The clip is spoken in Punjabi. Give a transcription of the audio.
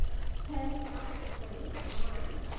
ਨਾ ਨਾ ਛੱਡਿਆ ਨੀ ਆਣਾ ਏ